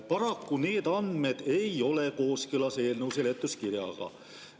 Paraku need andmed ei ole kooskõlas eelnõu seletuskirjaga.